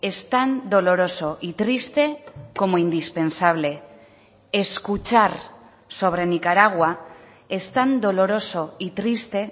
es tan doloroso y triste como indispensable escuchar sobre nicaragua es tan doloroso y triste